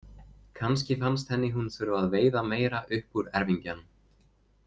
Kannski fannst henni hún þurfa að veiða meira upp úr erfingjanum.